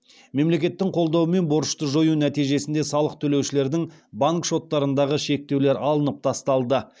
мемлекеттің қолдаумен борышты жою нәтижесінде салық төлеушілердің банк шоттарындағы шектеулер алынып тасталды